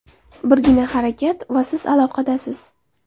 Birgina harakat va siz aloqadasiz!